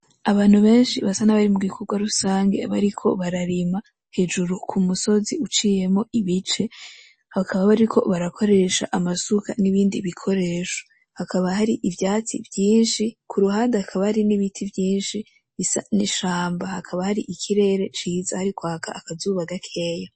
Abantu benshi basa nabari mu gikogwa rusangi bariko bararima hejuru ku musozi uciyemwo ibice bakaba bariko barakoresha amasuka n'ibindi bikoresho hakaba hari ivyatsi vyinshi kuruhande hakaba hari n'ibiti vyinshi bisa n'ishamba hakaba hari ikirere ciza hari kwaka akazuba gakeya.